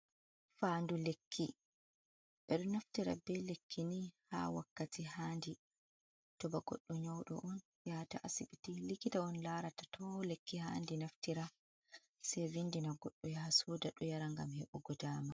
"Fandu lekki" ɓeɗo naftira ɓe lekki ni ha wakkati handi to ba goɗɗo nyaudo on yata asibiti likita on larata to on lekki handi naftira sei vindina goɗdo yaha soda do yara ngam hebugo dama.